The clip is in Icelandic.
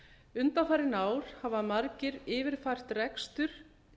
undanfarin ár hafa margir yfirfært rekstur